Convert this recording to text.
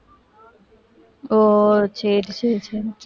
ஓ சரி சரி